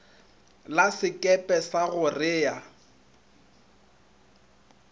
la sekepe sa go rea